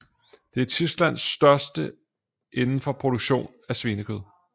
Det er Tysklands største indenfor produktion af svinekød